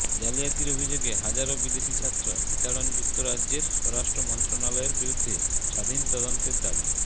জালিয়াতির অভিযোগে হাজারো বিদেশি ছাত্র বিতাড়নযুক্তরাজ্যের স্বরাষ্ট্র মন্ত্রণালয়ের বিরুদ্ধে স্বাধীন তদন্তের দাবি